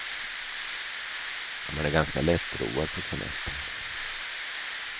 Man är ganska lättroad på semestern.